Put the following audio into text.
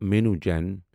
مانو جٔٮ۪ن